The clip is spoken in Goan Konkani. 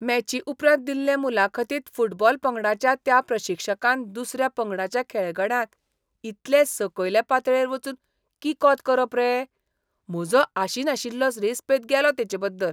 मॅची उपरांत दिल्ले मुलाखतींत फुटबॉल पंगडाच्या त्या प्रशिक्षकान दुसऱ्या पंगडाच्या खेळगड्यांक इतले सकयले पातळेर वचून किकोंत करप रे? म्हजो आशिनाशिल्लो रेस्पेत गेलो तेचेबद्दल.